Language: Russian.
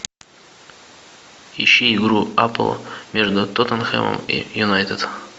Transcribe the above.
ищи игру апл между тоттенхэмом и юнайтед